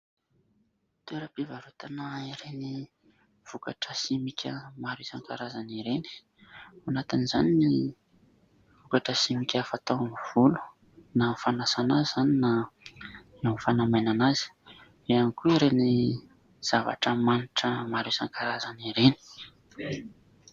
Toeram-pivarotana ireny vokatra simika maro isan-karazany ireny, ao anatin'izany ny vokatra simika fatao amin'ny volo : na amin'ny fanasana izany, na amin'ny fanamainana azy ; eo ihany koa ireny zavatra manitra maro isan-karazany ireny.